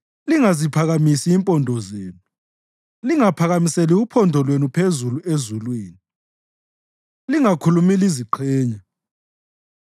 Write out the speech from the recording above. Lingaphakamiseli uphondo lwenu phezulu ezulwini; lingakhulumi liziqhenya.’ ”